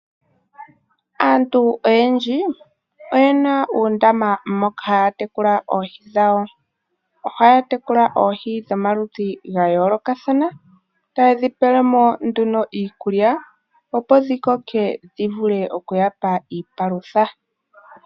Aantu oyendji oyena uundama moka haya tekula oohi dhawo ,ohaya tekula oohi dhomaludhi gayoolokathana tayedhi pelemo nduno iikulya opo dhikoke dhivule okuyapa iipalutha.